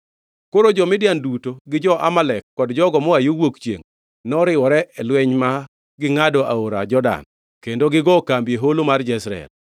Koro jo-Midian duto gi jo-Amalek kod jogo moa yo wuok chiengʼ noriwore e lweny ma gingʼado aora Jordan kendo gigo kambi e Holo mar Jezreel.